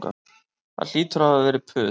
Það hlýtur að hafa verið puð